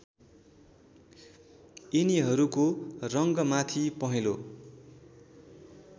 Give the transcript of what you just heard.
यिनीहरूको रङ्गमाथि पहेँलो